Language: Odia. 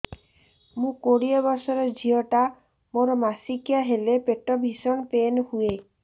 ମୁ କୋଡ଼ିଏ ବର୍ଷର ଝିଅ ଟା ମୋର ମାସିକିଆ ହେଲେ ପେଟ ଭୀଷଣ ପେନ ହୁଏ